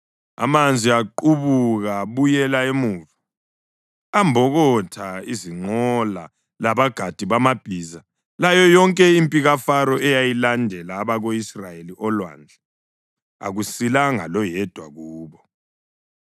Amanzi aqubuka abuyela emuva ambokotha izinqola labagadi bamabhiza, layo yonke impi kaFaro eyalandela abako-Israyeli olwandle. Akusilanga loyedwa kubo.